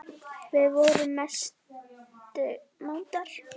Við vorum mestu mátar.